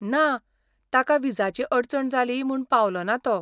ना, ताका व्हिजाची अडचण जाली म्हूण पावलोना तो.